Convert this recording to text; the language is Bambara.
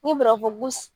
Ni farafin